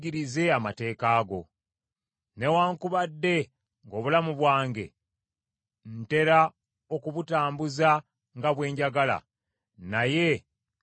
Newaakubadde ng’obulamu bwange ntera okubutambuza nga bwe njagala, naye seerabira mateeka go.